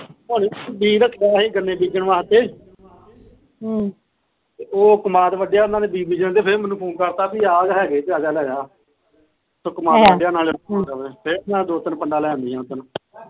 ਬੀਜਾਂ ਤਾ ਅਸੀ ਗੰਨੇ ਬੀਜਣ ਵਾਸਤੇ ਹਮ ਉਹ ਕਮਾਦ ਵੱਡਿਆ ਫਿਰ ਮੈਨੂੰ ਫੋਨ ਕਰਤਾ ਕਿ ਆਘ ਹੈਗੇ ਆਜਾ ਲੈਜਾ ਕਮਾਦ ਵੱਡਿਆ ਫਿਰ ਦੋ ਤਿੰਨ ਪੰਡਾ ਲਿਆਂਦੀਆਂ